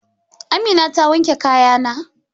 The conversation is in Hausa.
Amina ta wanke kayana?